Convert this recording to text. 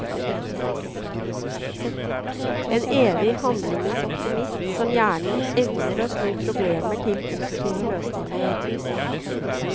En evig handlingens optimist som gjerne evner å snu problemer til positive løsninger.